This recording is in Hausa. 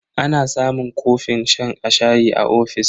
Ana samun kofin shan shayi a ofis.